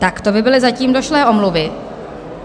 Tak to by byly zatím došlé omluvy.